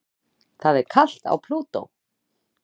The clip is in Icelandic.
Það er kalt á Plútó.